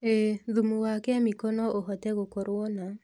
ĩĩ, thumu wa kemiko no ũhote gũkorwo na